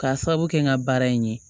K'a sababu kɛ n ka baara in ye